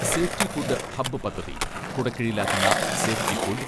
safety food hub പദ്ധതി, കുടക്കീഴിലാക്കുന്ന safety food